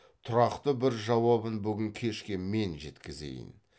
тұрақты бір жауабын бүгін кешке мен жеткізейін